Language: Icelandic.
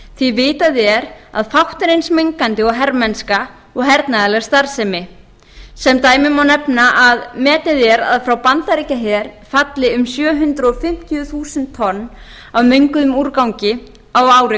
því vitað er að fátt er eins mengandi og hermennska og hernaðarleg starfsemi sem dæmi má nefna að metið er að frá bandaríkjaher falli um sjö hundruð fimmtíu þúsund tonn af menguðum úrgang á ári